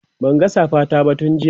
Banga safa ta ba tun jiya